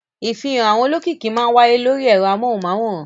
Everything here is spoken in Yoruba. Ìfihàn àwọn olókìkí máa wáyé lórí ẹ̀rọ amóhùmáwòhán.